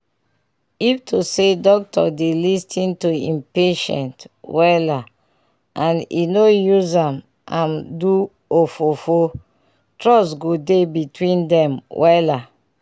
to talk true e dey good when hospital people dey explain how dem wan how dem wan treat person with simple and respectful word